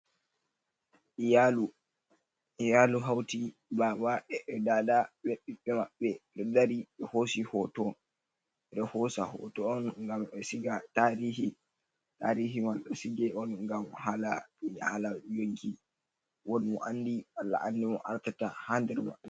Iyalu. Iyalu hauti baba,e ɗaɗa be ɓibbe maɓbe. Beɗ dari be hosi hoto. Beɗo hosa hoto on gam be siga tarihi. Tariman ɗo sige on gam hala hala yonki. Woɗ mo anɗi Allah anɗi moo artata ha der mabbe.